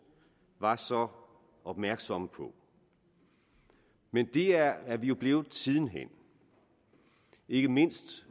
var så opmærksomme på men det er vi jo blevet siden hen ikke mindst